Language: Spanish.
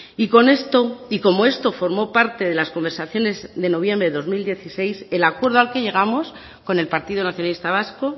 y con esto y como esto formo parte de las conversaciones de noviembre de dos mil dieciséis el acuerdo al que llegamos con el partido nacionalista vasco